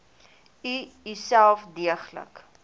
u uself deeglik